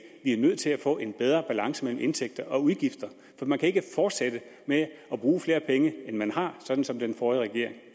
vi er nødt til at få en bedre balance mellem indtægter og udgifter for man kan ikke fortsætte med at bruge flere penge end man har sådan som den forrige regering